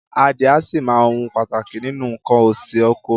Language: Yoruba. Adìẹ a sì máa ohun pàtàkì nínú nǹkan òsì oko.